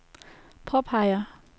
påpeger